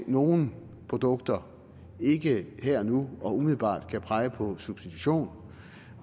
nogle produkter ikke her og nu og umiddelbart kan pege på substitution